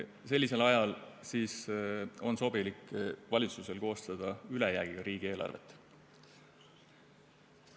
Sellisel ajal on valitsusel sobilik koostada ülejäägiga riigieelarvet.